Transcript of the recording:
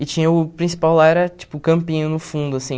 E tinha o principal lá era, tipo, o campinho no fundo, assim.